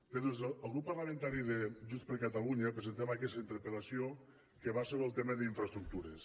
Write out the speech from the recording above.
bé doncs el grup parlamentari de junts per catalunya presentem aquesta interpel·lació que va sobre el tema d’infraestructures